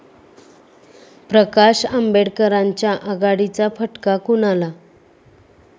प्रकाश आंबेडकरांच्या आघाडीचा फटका कुणाला?